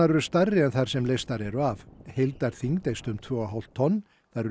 eru stærri en þær sem leystar eru af heildarþyngd eykst um tvö og hálft tonn